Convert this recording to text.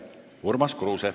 Urmas Kruuse.